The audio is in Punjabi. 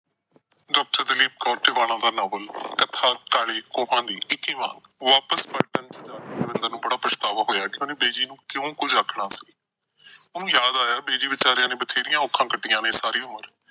ਡਾ. ਦਲੀਪ ਕੌਰ ਟਿਵਾਣਾ ਦਾ ਨਾਵਲ ਕਥਾ ਕਾਲੇ ਕੋਹਾਂ ਦੀ। ਅੰਕ-ਇਕੀਵਾਂ। ਵਾਪਸ ਪਲਟਨ ਚ ਜਾ ਕੇ ਦਵਿੰਦਰ ਨੂੰ ਬੜਾ ਪਛਤਾਵਾ ਹੋਇਆ ਕਿਨੂੰ ਬੜਾ ਪਛਤਾਵਾ ਹੋਇਆ ਕਿ ਉਹਨੇ ਬਿਜੀ ਨੂੰ ਕਿਉਂ ਕੁਝ ਆਖਿਆ ਸੀ। ਉਹਨੂੰ ਯਾਦ ਆਇਆ ਕਿ ਬਿਜੀ ਵਚਾਰੇ ਨੇ ਬਥੇੜੀਆਂ ਔਕੜਾਂ ਕੱਟੀਆਂ ਨੇ ਸਾਰੀ ਉਮਰ।